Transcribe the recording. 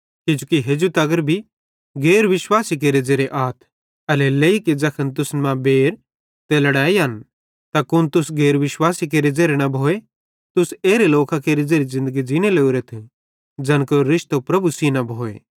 किजोकि हेजू तगर भी गैर विश्वासी केरे ज़ेरे आथ एल्हेरेलेइ कि ज़ैखन तुसन मां बैर ते लड़ाइयन त कुन तुस गैर विश्वासी केरे ज़ेरे न भोए तुस एरे लोकां केरि ज़ेरि ज़िन्दगी ज़ींने लोरेथ ज़ैन केरो रिश्तो प्रभु सेइं न भोए